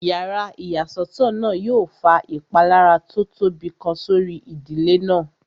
Yàrá ìyàsọ́tọ̀ náà yóò fa ìpalára tó tóbi kan sórí ìdílé náà